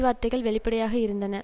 வார்த்தைகள் வெளிப்படையாக இருந்தன